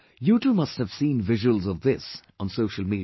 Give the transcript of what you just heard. You too must have seen visuals of this on social media